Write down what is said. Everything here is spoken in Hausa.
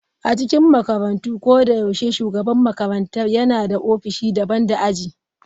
A cikin makarantu, ko da yaushe shugaban makarantar yana da ofishi daban da aji.